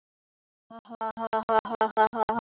Smári, ég átti nú síst von einhverju svona frá þér!